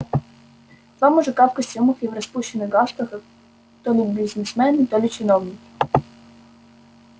два мужика в костюмах и в распущенных галстуках то ли бизнесмены то ли чиновники